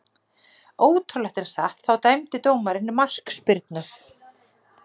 Ótrúlegt en satt, þá dæmdi dómarinn markspyrnu.